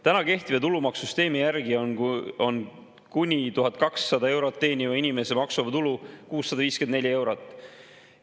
Täna kehtiva tulumaksusüsteemi järgi on kuni 1200 eurot teeniva inimese maksuvaba tulu 654 eurot.